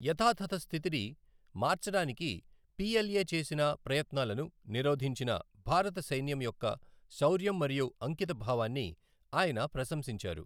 యథాతథ స్థితిని మార్చడానికి పిఎల్ఏ చేసిన ప్రయత్నాలను నిరోధించిన భారత సైన్యం యొక్క శౌర్యం మరియు అంకితభావాన్ని ఆయన ప్రశంసించారు.